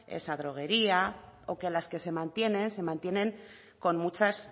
esa droguería o que las que se mantienen se mantienen con muchas